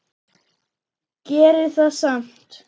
Gerir það samt.